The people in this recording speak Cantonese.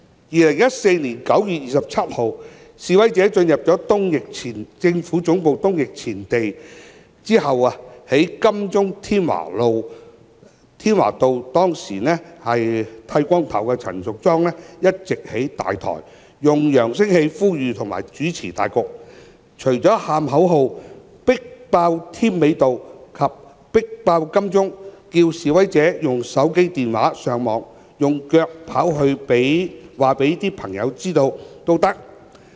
2014年9月27日，示威者進入政府總部東翼前地後，當時在金鐘添華道剃光頭髮的陳淑莊議員一直在"大台"上，用揚聲器呼籲及主持大局，除了叫喊口號"迫爆添美道"及"迫爆金鐘"外，並着示威者"用手機、電話、上網，用腳跑去告訴朋友知道也可"。